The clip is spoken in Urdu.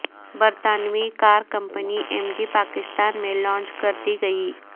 برطانوی car company M G Pakistan میں لانچ کر دی گئی